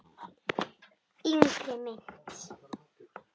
Yngri mynt